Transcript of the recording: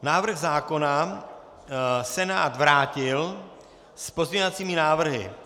Návrh zákona Senát vrátil s pozměňovacími návrhy.